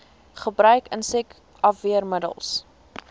gebruik insek afweermiddels